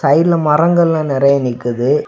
சைடுல மரங்கள் எல்லா நெறைய நிக்குது.